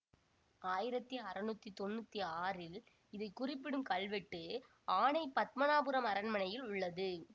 ஆயிரத்தி அறுநூற்றி தொன்னூற்தி ஆறில் இதை குறிப்பிடும் கல்வெட்டு ஆணை பத்மநாபபுரம் அரண்மனையில் உள்ளது